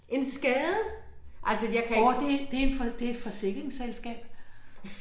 En skade! Altså jeg kan ik